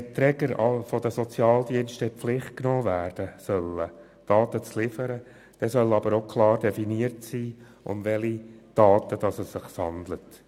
Wenn die Träger der Sozialdienste in die Pflicht genommen werden sollen, Daten zu liefern, soll aber klar definiert sein, um welche Daten es sich handelt.